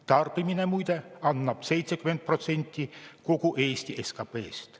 Tarbimine annab muide 70% kogu Eesti SKP-st.